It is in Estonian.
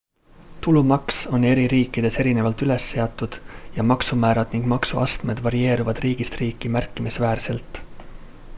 tulumaks on eri riikides erinevalt üles seatud ja maksumäärad ning maksuastmed varieeruvad riigist riiki märkimisväärselt